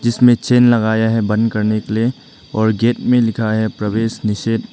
जिसमे चेन लगाया है बंद करने के लिए और गेट में लिखा है प्रवेश निषेध।